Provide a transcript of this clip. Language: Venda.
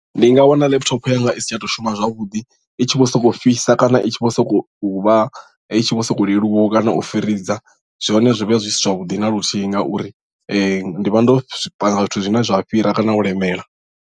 Ndi nga wana laptop yanga i si tsha to shuma zwavhuḓi i tshi vho sokou fhisa kana i tshi vho sokou vha i tshi vho sokou leluwaho kana u firiza zwone zwi vha zwi si zwavhuḓi na luthihi ngauri ndi vha ndo panga zwithu zwine zwa fhira kana u lemela.